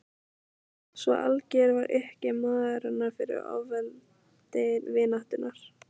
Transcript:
Svo algjör var uppgjöf móðurinnar fyrir ofurveldi vináttunnar.